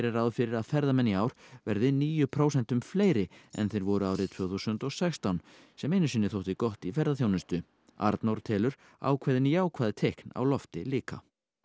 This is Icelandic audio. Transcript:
ráð fyrir að ferðamenn í ár verði níu prósentum fleiri en þeir voru árið tvö þúsund og sextán sem einu sinni þótti gott í ferðaþjónustu Arnór telur ákveðin jákvæð teikn á lofti líka